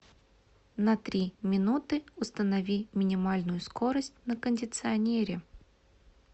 на три минуты установи минимальную скорость на кондиционере